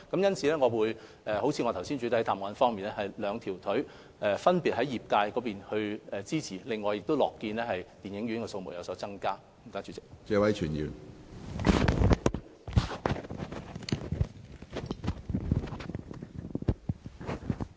因此，正如我在主體答覆中提到，我們一方面繼續支持電影業界，也樂見電影院的數目有所增加。